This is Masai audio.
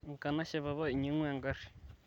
enkanashe papa inyangua egari